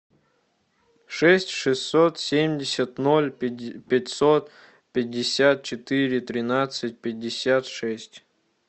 шесть шестьсот семьдесят ноль пятьсот пятьдесят четыре тринадцать пятьдесят шесть